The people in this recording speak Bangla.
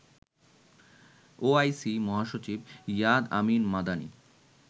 ওআইসি মহাসচিব ইয়াদ আমিন মাদানি